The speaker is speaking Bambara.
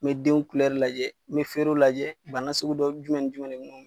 N be denw lajɛ , n be feerenw lajɛ bana sugu dɔ jumɛn ni jumɛn